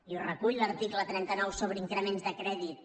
i ho recull l’article trenta nou sobre increments de crèdit